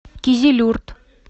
кизилюрт